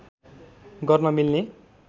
गर्न मिल्ने